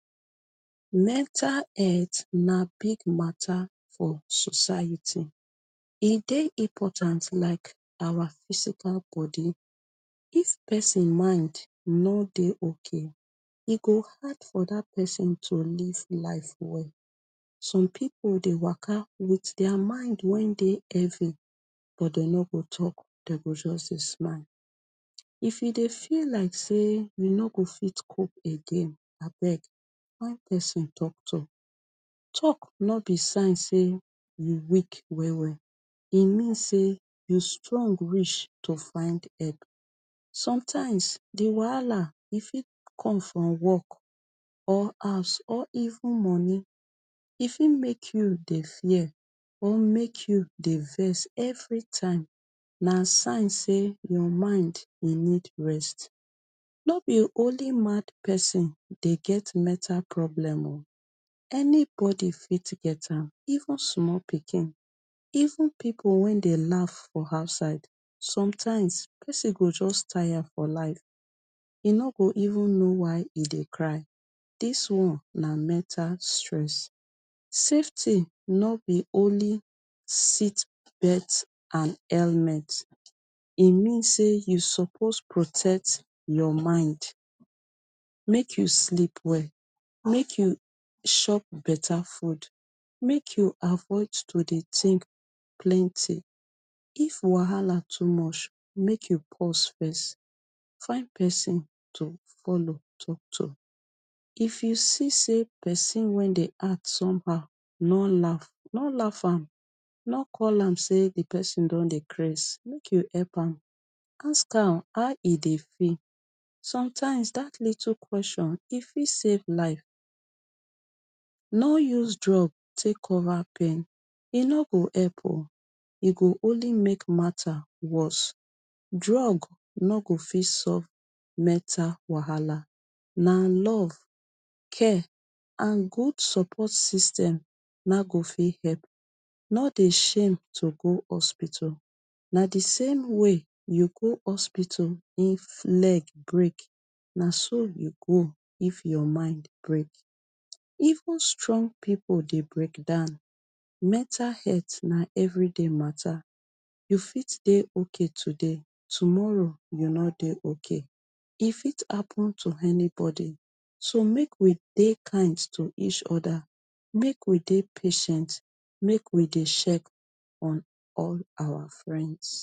Mental het na big matter for society, e dey important like awa physical bodi. If pesin mind no dey okay, e go hard for dat pesin to live life well. Some pipu dey waka wit dia mind wen dey heavy, but dem no go tok, dey go just dey smile. If e dey feel like say you no go fit cope again, abeg find pesin tok to. Tok no be sign say you weak well well, e mean say you strong reach to find epp. Sometimes, di wahala e fit come from work, or house or even money. E fit make you dey fear or make you dey vess everytime. Na sign say your mind e need rest. No be only mad pesin dey get mental problem o, anybody fit get am, even sumol pikin, even pipu wen dey laff for outside. Sometimes, pesin go just tire for life, e no go even know why e dey cry. Dis one na mental stress. Safety no be only seatbelt and helmet, e mean say you suppose protect your mind. Make you sleep well, make you shop beta food, make you avoid to dey tink plenty. If Wahala too mush, make you pause fes. Find pesin to follow tok to. If you see say pesin wen dey act somehow, no laff, no laff am, no call am say di pesin don dey craze, make you epp am. Ask am how e dey feel. Sometimes, dat little kweshon e fit save life. No use drug take cover pain, e no go epp o. E go only make matter worse. Drug no go fit sove mental wahala. Na love, care, and good support system na go fit hepp. No dey shame to go hospital. Na di same way you go hospital if leg break, na so you go if your mind break. Even strong pipu dey break down. Mental het na everyday matter. You fit dey okay today, tomorrow you no dey okay. E fit happun to anybody. So make we dey kind to each oda, make we dey patient, make we dey shek on all awa friends.